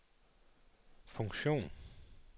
funktion